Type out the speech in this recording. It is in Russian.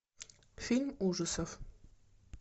фильм ужасов